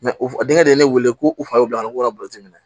denkɛ de ye ne weele ko u fa be ban u ka bi minɛ